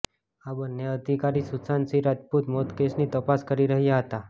આ બંને અધિકારી સુશાંત સિંહ રાજપૂત મોત કેસની તપાસ કરી રહ્યા હતા